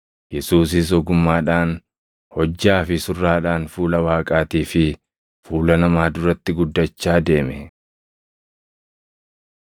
Yesuusis ogummaadhaan, hojjaa fi surraadhaan fuula Waaqaatii fi fuula namaa duratti guddachaa deeme.